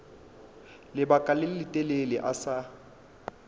lebaka le letelele a sa